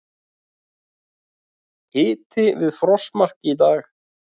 Hiti við frostmark í dag